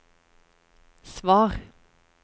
svar